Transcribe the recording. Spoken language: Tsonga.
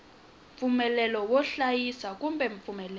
mpfumelelo wo hlayisa kumbe mpfumelelo